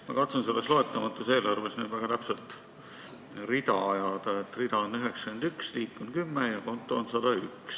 Ma katsun selles loetamatus eelarves nüüd väga täpselt rida ajada: rida on 91, liik on 10 ja konto on 101.